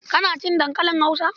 Kana cin dankalin Hausa?